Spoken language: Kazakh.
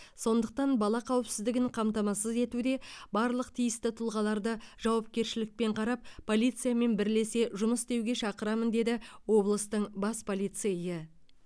сондықтан бала қауіпсіздігін қамтамасыз етуде барлық тиісті тұлғаларды жауапкершілікпен қарап полициямен бірлесе жұмыс істеуге шақырамын деді облыстың бас полицейі